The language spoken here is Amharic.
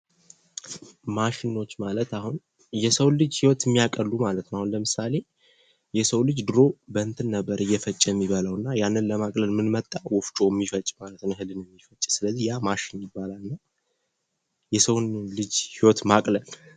ማሸኖች ማለት አሁን የሰውን ልጅ ህይወት የሚያቀሉ ማለት ነው አሁን ለምሳሌ የሰው ልጅ ድሮ በእንትን ነበር እየፈጨ የሚበላ የነበረው እና ያንን ለማቅለል ምን መጣ ወፍጮ ወፍጮ የሚፈጭ ማለት ነው እህልን ስለዚህ ያ ማሽን ይባላል ሰውን ልጅ ህይወት ለማቅለል ።